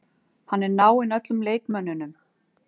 Hann er náinn öllum leikmönnunum.